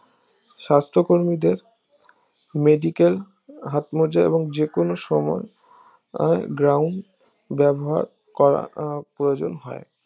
সাস্থ কর্মীদের medical হাতমোজা এবং যেকোনো সময় আহ গ্রাউন্ড ব্যবহার করা আহ প্রয়োজন হয়